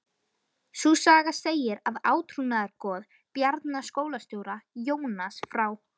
Sú saga segir að átrúnaðargoð Bjarna skólastjóra, Jónas frá